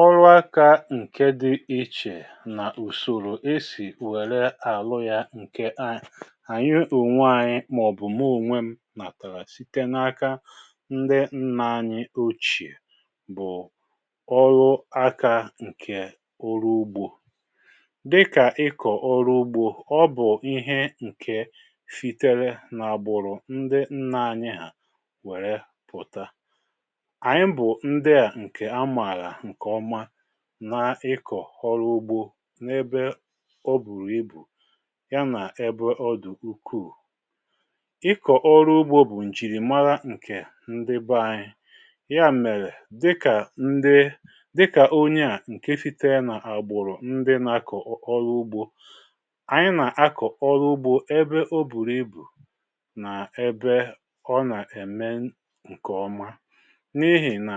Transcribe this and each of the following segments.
Ọrụ aka nke dị ichè nà ùsòrò esì wère àlụ ya nke ànyị ònwé anyị màọ̀bụ̀ m̀ụ́onwe m nàtàrà site n’aka ndị nna anyi ochè bụ̀ ọrụ aka nke ọrụ ugbȯ. Dịkà ịkọ̀ ọrụ ugbȯ, ọ bụ̀ ihe nke sitere n'àgbụ̀rụ̀ ndị nna anyị hà wère pụta. Anyị bụ ndị a nke a maara nke ọma na ịkọ̀ ọrụ ugbȯ n’ebe o bùrù ibù ya nà ebe ọ dụ̀ ukuù. Ịkọ̀ ọrụ ugbȯ bụ̀ ǹjìrìmara ǹkè ndị ba ȧnyị, ya mèrè dịkà ndị dịkà onye à ǹke sitere nà àgbụ̀rụ̀ ndị na-akọ̀ ọrụ ugbȯ, ànyị nà-akọ̀ ọrụ ugbȯ ebe o bùrụ ibù nà ebe ọ nà-eme ǹkè ọma. N'ihi na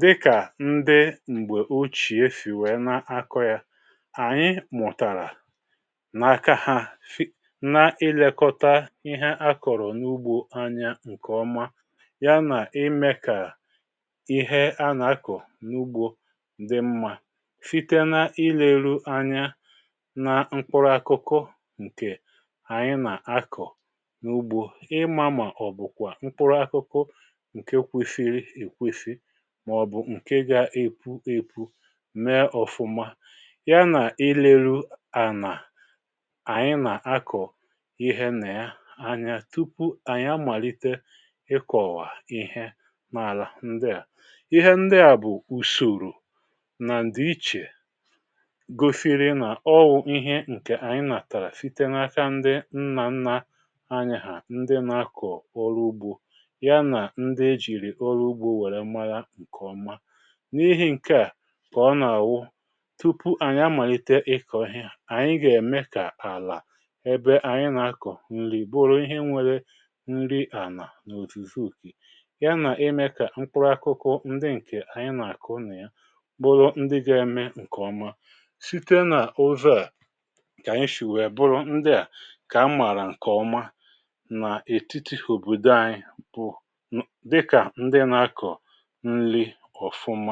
dịka ndị mgbe ochie si wee ná akọ̀ ya, anyị mụtara, n'aka ha na ilekọta ihe akọrọ n'ugbo anya nke ọma yana ímé ka ihe a na-akọ̀ n'ugbo dị mmȧ site ná ileru anya na mkpụrụ akụkụ ǹkè ànyị nà-akọ̀ n’ugbo, ịmȧ mà ọ̀bụ̀kwà mkpụrụ akụkụ nke kwesiri ekwesi màọbụ nke ga-epu epu, mee ọfụma, ya nà ilerú ànà ànyị nà akọ̀ ihe nà ya anya tupu ànyị amalite ịkọ̀wà ihe nà àlà ndị à. Ihe ndị à bụ̀ ùsòrò nà ǹdị̀ichè gosiri nà ọwụ ihe ǹkè ànyị nàtàrà site n’aka ndị nnà nnà anyị hà ndị nà akọ̀ ọrụ ugbȯ ya nà ndị e jìrì ọrụ ugbȯ wère mara ǹkè ọma. N’ihi ǹke à, kà ọ nà-àwụ tupu ànyị amàlite ịkọ̀ ànyị gà-ème kà àlà ebe ànyị nà-akọ̀ nrí bụrụ ihe nwélé nri ànà n’òzùzu ya nà-ime kà mkpụrụ akụkụ ndị ǹkè ànyị nà-àkụ nị̀ya, bụrụ ndị ga-eme ǹkèọma site n’ụzọ̀ a, ka àyị shì wèe bụrụ ndị à, kà a mààrà ǹkèọma nà ètiti òbodo anyi bụ́dịkà ndị nà-akọ̀ ńli.